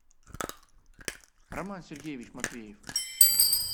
роман сергеевич матвеев